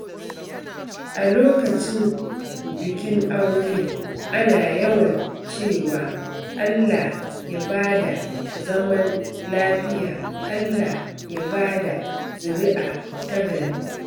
A lokacin bikin aure, ana yawan cewa "Allah Ya ba da zaman lafiya, Allah ya ba da zuri'a ta gari."